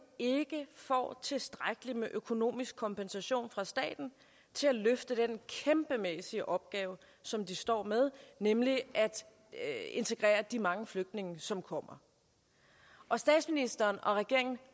ikke får tilstrækkelig økonomisk kompensation fra staten til at løfte den kæmpemæssige opgave som de står med nemlig at integrere de mange flygtninge som kommer og statsministeren og regeringen